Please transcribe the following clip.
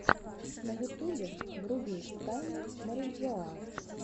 на ютубе вруби тайны мариджоа